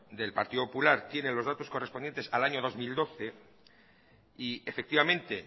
del partido popular tiene los datos correspondientes al año dos mil doce y efectivamente